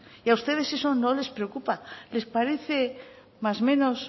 y a ustedes eso no les preocupa les parece más menos